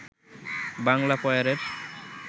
Bangla পয়ারের